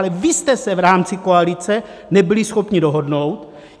Ale vy jste se v rámci koalice nebyli schopni dohodnout!